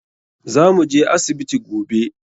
Za mu je asibiti gobe.